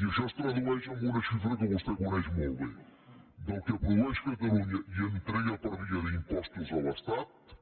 i això es tradueix en una xifra que vostè coneix molt bé del que produeix catalunya i entrega per via d’impostos a l’estat